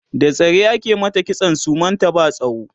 da zare ake mata kitson suman ta ba tsawo